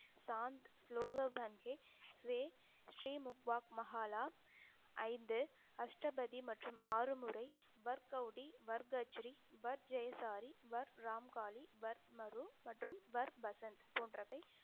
சாந்~ ஸ்லோகோ ஸ்ரீ முக்வாத் மஹாலா ஐந்து அஷ்டபதி மற்றும் ஆறு முறை வர்கௌடி, வர்க்கச்ரி, வர்க் ஜெயசாரி, வர்க் ராமுகாளி, வர்க் மரு, மற்றும் வர் வசந்த் போன்றவை